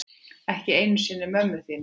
Ekki einu sinni mömmu þína.